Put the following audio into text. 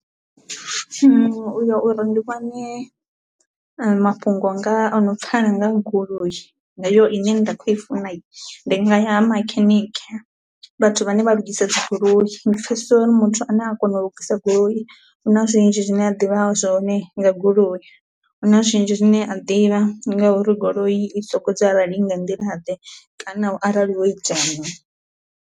uya uri ndi vhone mafhungo nga ono pfala nga ha goloi heyo ine nda kho i funa hi, ndi nga ya ha makhanikhe vhathu vhane vha lugise dzi goloi ndi pfesesa uri so ndi muthu ane a kona u lugisa goloi huna zwinzhi zwine a ḓivha zwone nga, goloi huna zwinzhi zwine a ḓivha ngauri goloi i soko i nga nḓila ḓe kana u arali wo itea min.